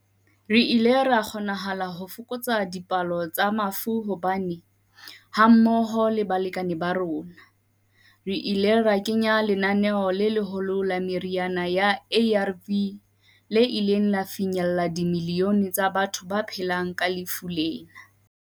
Re ile ra kgonahala ho fokotsa dipalo tsa mafu hobane, hammoho le balekane ba rona, re ile ra kenya lenaneo le leholo la meriana ya ARV le ileng la fihlella dimilione tsa batho ba phelang ka lefu lena.